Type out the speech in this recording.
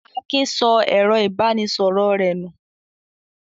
Akin sọ ẹ̀rọ-ìbánisọ̀rọ̀ rẹ̀ nù?